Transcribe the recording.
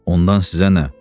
Ondan sizə nə?